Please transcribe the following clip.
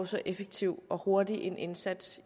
så effektiv og hurtig indsats